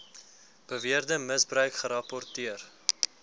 beweerde misbruik gerapporteer